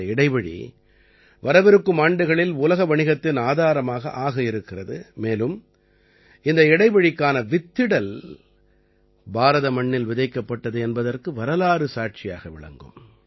இந்த இடைவழி வரவிருக்கும் ஆண்டுகளில் உலக வணிகத்தின் ஆதாரமாக ஆக இருக்கிறது மேலும் இந்த இடைவழிக்கான வித்திடல் பாரத மண்ணில் விதைக்கப்பட்டது என்பதற்கு வரலாறு சாட்சியாக விளங்கும்